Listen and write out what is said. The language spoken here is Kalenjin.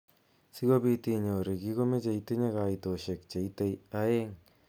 Sikobit inyoru kii komeche itinye kaitoshek cheitei aeng eng makishek bokol angwan kenuch angwan ak tisab.